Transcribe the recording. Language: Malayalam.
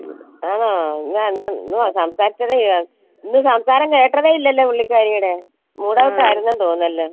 ആണോ ഇന്ന് സംസാരിച്ചതേ ഇന്ന് സംസാരം കേട്ടതേ ഇല്ലല്ലോ പുള്ളിക്കാരിയുടെ mood off ആയിരുന്നെന്ന് തോന്നുന്ന്